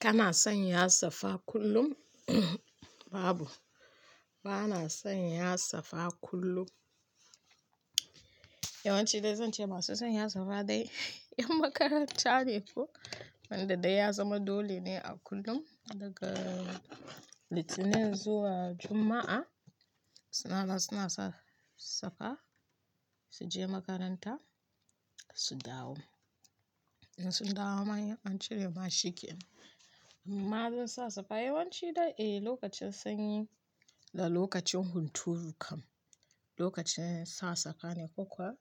Kana son ya sa safa kullum? Babu, ba na son ya sa safa kullum. Yawanci dai zan ce masu son ya sa safa dai 'yan makaranta ne ko, wanda dai ya zama dole ne a kullum daga Litinin zuwa Juma'a suna da suna sa safa su je makaranta su dawo. In sun dawo ma in an cire ma shiken. Imma zan sa safa yawanci dai eh lokacin sanyi da lokacin hunturu kam lokacin sa safa ne ko kuwa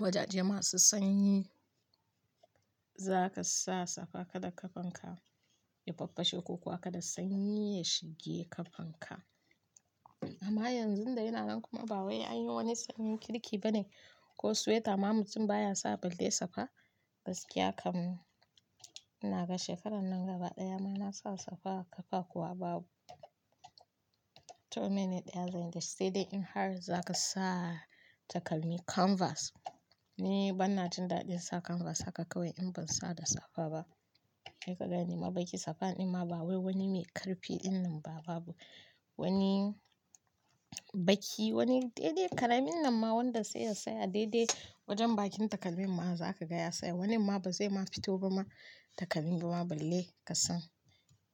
wajaje masu sanyi za ka sa safa kada ƙafanka ya faffashe ko kuwa kada sanyi ya shige ƙafanka. Amma yanzu da yana nan kuma ba wai an yi wani sanyin kirki bane ko sweater ma mutum baya sa balle safa gaskiya kam. Ina ga shekarar nan gaba ɗaya mana sa safa kafa kuwa babu. To mene dai zan yi? Sai dai in har za ka sa takalmi canvas ni bana jin daɗin sa kanvas haka kawai in ban sa da safa ba. Sai ka gani ma baki safan ina ma ba wai wani mai ƙarfi innan ba babu. Wani baki wani dai-dai karamin nan ma wanda sai ya tsaya dai-dai wajen bakin takalmin ma za ka gaya sai wanin ma ba zai ma fito ba ma takalmi ba ma balle ka san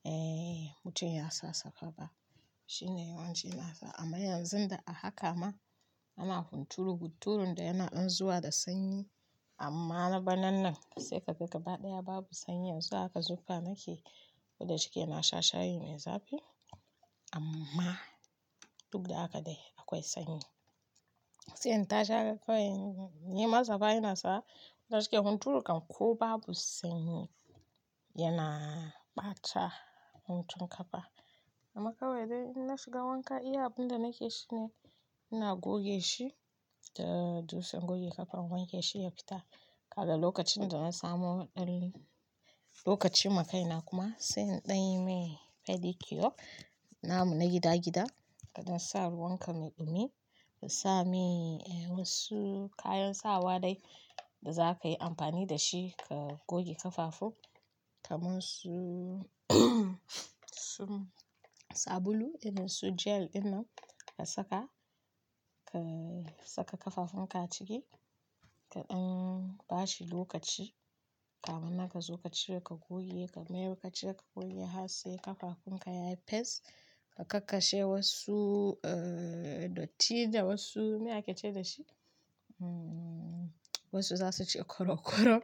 eh mutum ya sa safa ba. Shine yawanci na sa amma yanzun da a haka ma ana hunturu hunturun da yana dan zuwa da sanyi amma na banan nan sai ka ga gaba ɗaya babu sanyi yanzu haka zuƙa nake. Ko da shike ina sha shayi mai zafi amma duk da haka dai akwai sanyi. Sai in tashi haka kawai ni ma safa ina sa na shike hunturu kam ko babu sanyi yana ɓata huntun ƙafa. Amma kawai dai in na shiga wanka iya abun da nake shi ne ina goge shi da dutsen goge ƙafa in wanke shi ya fita. Kaga lokacin da na samu haɗari lokaci makaina kuma sai in ɗanyi mai pedicure namu na gida gida. Kaɗan sa ruwan ka mai dumi ka sa mi eh wasu kayan sawa dai da za ka yi amfani da shi ka goge ƙafafun kamar su su sabulu in su gel dinnan ka saka ka saka ƙafafun ka ciki ka ɗan bashi lokaci kamun naka zo ka cire ka goge ka mayar ka cire ka goge har sai ƙafafun ka yayi fes ka kakkashe wassu eh dotti da wassu me ake ce da shi? Hmm wasu za su ce korokoro.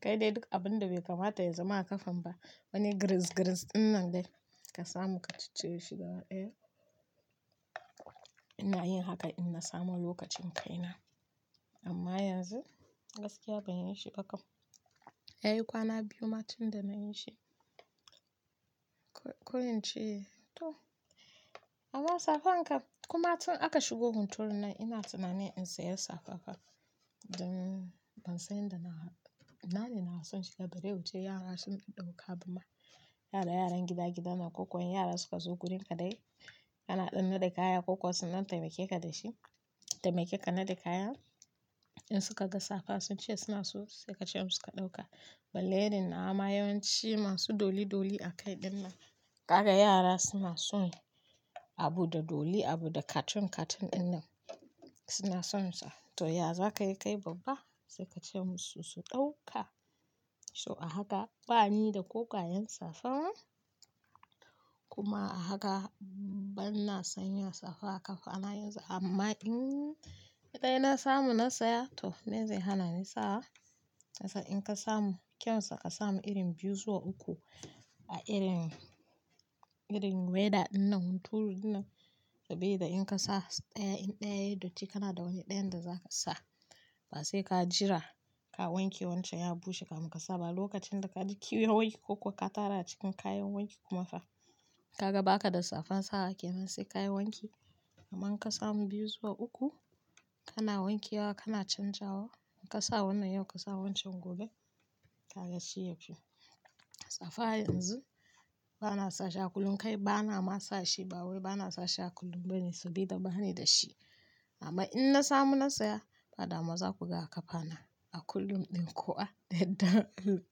Ka dai duk abun da bai kamata ya zama a ƙafan ba wani giris-giris innan dai ka samu ka ciccire shi ga ba daya. Eh ina yin haka in na samu lokacin kai na amma yanzu gaskiya ban yi shi ba kam. Yayi kwana biyu ma tun da na yi shi. Ko in ce to amma safan ƙafa kuma tun aka shigo hunturun nan ina tunanin in saya safa kafa. Don ban san inda na na ne na so in shiga bare wuce yara sun ɗauka ba ma. Yara yaran gida gidanan ko kuwa yara suka zo wurin ka dai ana ɗanna de kaya ko kuwa sun nan taimake ka da shi taimake ka na da kaya. In suka ga safa sun ce suna so sai ka ce musu ka ɗauka. Balle irin nawa ma yawanci masu dolly dolly a kai ɗin nan. Ka ga yara suna son abu da dolly abu da cartoon cartoon ɗinan suna son sa. To ya za ka yi kai babba? Sai ka ce musu su ɗauka. So a haka bani da ko ƙwayan safa kuma a haka banna son ya sa safa kafa na yanzu amma in kaɗai na samu na saya to mene zai hana ni sawa. Kasan in ka samu kyan sakasamu irin biyu zuwa uku a irin irin weather dinnan hunturu dinnan saboda in ka sa ɗaya in ɗaya datti kana da wani ɗayan da za ka sa. Ba sai ka jira ka wanke wancan ya bushe kamun ka sa ba lokacin da ka ji kiwon wanki ko kuwa ka tara cikin kayan wanki kuma fa ka ga baka da safan sawa ake nan sai ka yi wanki. Amman in ka samu biyu zuwa uku kana wanke wa kana canjawa. In ka sa wannan yau ka sa wancan gobe ka ga sai ya fi. Safa yanzu bana sa shi a kullum kai bana ma sa shi ba wai bana sa shi a kullum bane saboda bani da shi. Amma in na samu na saya ba dama za ku ga a ƙafa na a kullum ɗin kuwa da yardar Allah.